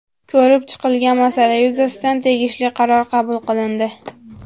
Ko‘rib chiqilgan masala yuzasidan tegishli qaror qabul qilindi.